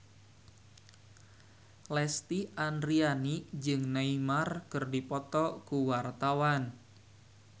Lesti Andryani jeung Neymar keur dipoto ku wartawan